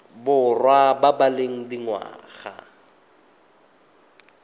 borwa ba ba leng dingwaga